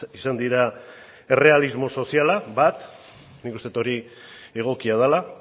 izan dira errealismo soziala bat nik uste dut hori egokia dela